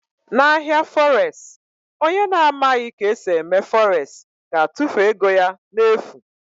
Na ahịa fọres, onye na amaghị ka esi eme fọres ga-atụfu ego ya n'efu.